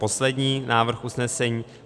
Poslední návrh usnesení: